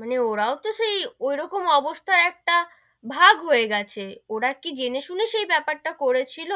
মানে ওরাও তো সেই ঐরকম অবস্থায় একটা ভাগ হয়ে গেছে, ওরা কি জেনে শুনে সেই বেপার টা করেছিল,